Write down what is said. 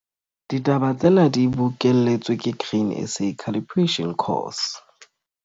Ditaba tsena di bokelletswe ke Grain SA Calibration Course.